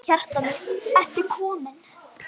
Hjartað mitt, ertu kominn?